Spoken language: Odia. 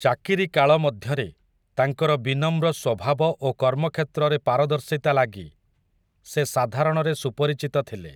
ଚାକିରି କାଳ ମଧ୍ୟରେ, ତାଙ୍କର ବିନମ୍ର ସ୍ୱଭାବ ଓ କର୍ମକ୍ଷେତ୍ରରେ ପାରଦର୍ଶିତା ଲାଗି, ସେ ସାଧାରଣରେ ସୁପରିଚିତ ଥିଲେ ।